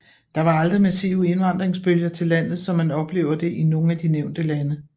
Der var aldrig massive indvandringsbølger til landet som man oplever det i nogle af de nævnte lande